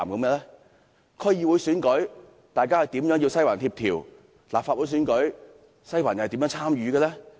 在區議會選舉中，"西環"如何協調；在立法會選舉中，"西環"又如何參與？